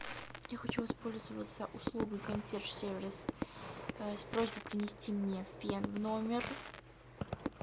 я хочу воспользоваться услугой консьерж сервис с просьбой принести мне фен в номер